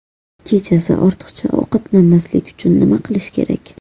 Kechasi ortiqcha ovqatlanmaslik uchun nima qilish kerak?